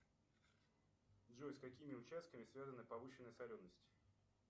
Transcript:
джой с какими участками связана повышенная соленость